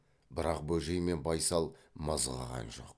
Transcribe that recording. бірақ бөжей мен байсал мызғыған жоқ